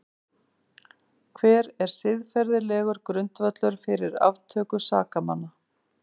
Hver er siðferðilegur grundvöllur fyrir aftöku sakamanna?